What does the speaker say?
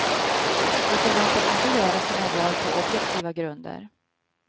De förväntas inte göra sina val på objektiva grunder.